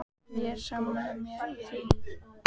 Ég er sammála þér í því.